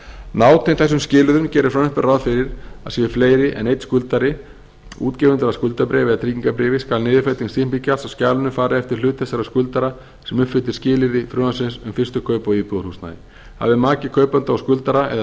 nátengt þessum skilyrðum gerir frumvarpið ráð fyrir að séu fleiri en einn skuldari útgefendur að skuldabréfi eða tryggingarbréf skal niðurfelling stimpilgjalds af skjalinu fara eftir hlut þess skuldara sem uppfyllir skilyrði frumvarpsins um fyrstu kaup á íbúðarhúsnæði hafi maki kaupanda og skuldara eða